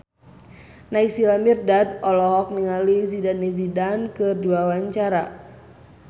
Naysila Mirdad olohok ningali Zidane Zidane keur diwawancara